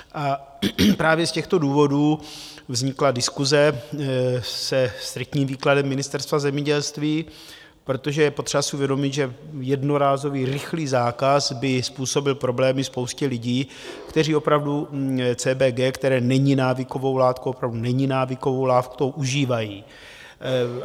A právě z těchto důvodů vznikla diskuse se striktním výkladem Ministerstva zemědělství, protože je potřeba si uvědomit, že jednorázový rychlý zákaz by způsobil problémy spoustě lidí, kteří opravdu CBD, které není návykovou látkou - opravdu není návykovou látkou - užívají.